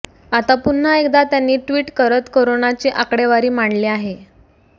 आता पुन्हा एकदा त्यांनी ट्विट करत कोरोनाची आकडेवारी मांडली आहे